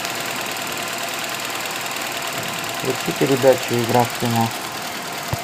включи передачу игра в кино